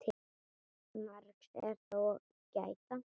Margs er þó að gæta.